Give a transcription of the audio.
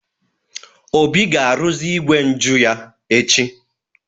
Obi ga-arụzi igwe njụ ya echi.